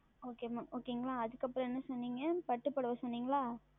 Okay ங்களா அதற்கு அப்புறம் என்ன சொன்னீர்கள் பட்டு புடவை சொன்னீர்கள் அல்லவா